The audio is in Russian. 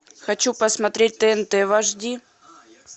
хочу посмотреть тнт в ашди